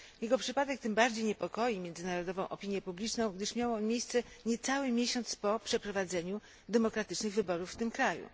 Jego przypadek tym bardziej niepokoi międzynarodową opinię publiczną, gdyż miał on miejsce niecały miesiąc po przeprowadzeniu demokratycznych wyborów w tym kraju.